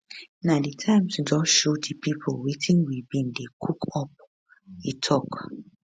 na di time to just show di pipo wetin we bin dey cook up e tok